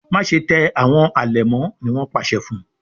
Máṣe tẹ àwọn alẹmọ! ní wón pàṣẹ fún.